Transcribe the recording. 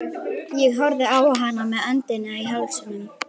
Ég horfði á hana með öndina í hálsinum.